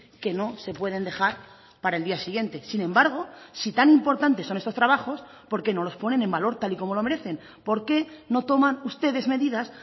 que no se pueden dejar para el día siguiente sin embargo si tan importantes son estos trabajos por qué no los ponen en valor tal y como lo merecen por qué no toman ustedes medidas